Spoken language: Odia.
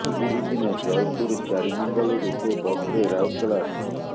ଏହି ଦିନ ଜୟପୁର ଚାରିନଙ୍ଗଲରୁ ସେ ବସ୍ରେ ରାଉରକେଲା ଆସିଥିଲେ